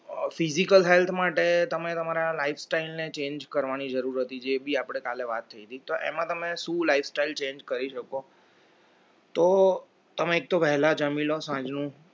physical health માટે તમે તમારા life style ને change કરવાની જરૂર હતી જેબી પણ આપણે કાલે વાત થઈ હતી તો એમાં તમે શું life style change કરી શકો તો તમે તો વહેલા જમી લો સાંજનુ